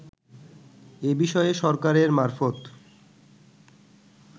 এ বিষয়ে সরকারের মারফত